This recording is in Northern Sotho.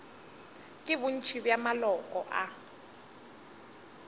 ke bontši bja maloko a